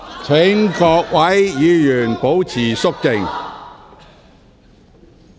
請各位議員保持肅靜。